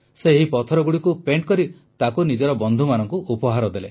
ସେ ଏହି ପଥରଗୁଡ଼ିକୁ ପେଣ୍ଟ କରି ତାକୁ ନିଜର ବନ୍ଧୁମାନଙ୍କୁ ଉପହାର ଦେଲେ